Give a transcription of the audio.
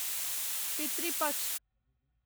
पितृ पक्ष